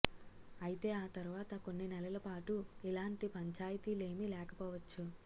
ఐతే ఆ తర్వాత కొన్ని నెలల పాటు ఇలాంటి పంచాయితీలేమీ లేకపోవచ్చు